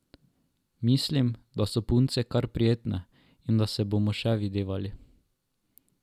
Mislim, da so punce kar prijetne in da se bomo še videvali.